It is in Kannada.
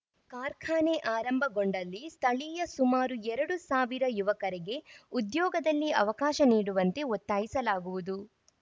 ಕಾರ್ಖಾನೆ ಆರಂಭಗೊಂಡಲ್ಲಿ ಸ್ಥಳೀಯ ಸುಮಾರು ಎರಡು ಸಾವಿರ ಯುವಕರಿಗೆ ಉದ್ಯೋಗದಲ್ಲಿ ಅವಕಾಶ ನೀಡುವಂತೆ ಒತ್ತಾಯಿಸಲಾಗುವುದು